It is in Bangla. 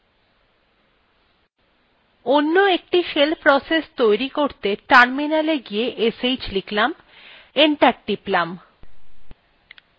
অন্য একটি shell process সৃষ্টি করতে terminal গিয়ে sh লিখলাম এবং enter টিপলাম